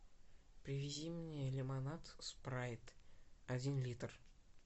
привези мне лимонад спрайт один литр